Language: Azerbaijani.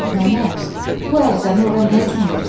Nənə, bu ərizəni ora nə üçün verirsən?